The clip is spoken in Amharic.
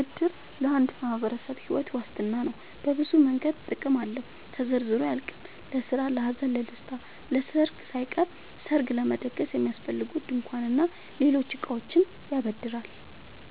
እድር ለአንድ ማህበረሰብ ሒወት ዋስትና ነው። በብዙ መንገድ ጥቅም አለው ተዘርዝሮ አያልቅም። ለስራ ለሀዘን ለደሰታ። ለሰርግ ሳይቀር ሰርግ ለመደገስ የሚያስፈልጉ ድንኳን እና ሌሎች እቃዎችን ያበድራል